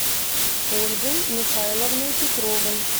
ольгой михайловной петровой